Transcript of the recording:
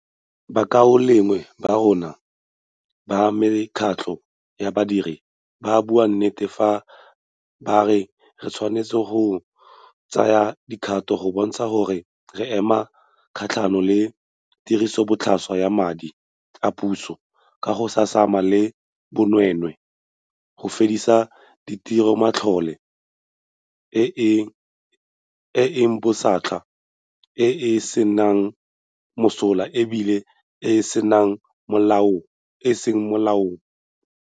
Bakaulengwe ba rona ba mekgatlho ya badiri ba bua nnete fa ba re re tshwanetse go tsaya dikgato go bontsha gore re ema kgatlhanong le tirisobotlhaswa ya madi a puso ka go samagana le bonweenwee, go fedisa tirisomatlole e e botlhaswa, e e seng mosola e bile e se mo molaong.